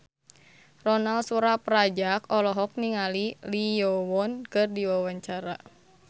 Ronal Surapradja olohok ningali Lee Yo Won keur diwawancara